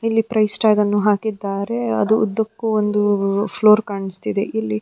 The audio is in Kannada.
ಇಲ್ಲಿ ಪ್ರೈಸ್ ಟ್ಯಾಗನ್ನು ಹಾಕಿದ್ದಾರೆ ಅದಕ್ಕು ಒಂದು ಫ್ಲೋರ್ ಕಾಣಿಸ್ತಿದೆ ಇಲ್ಲಿ --